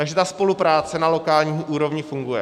Takže ta spolupráce na lokální úrovni funguje.